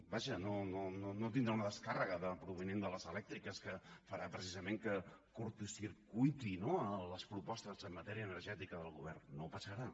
vaja no tindrà una descàrrega provinent de les elèctriques que farà precisament que curtcircuiti no les propostes en matèria energètica del govern no passarà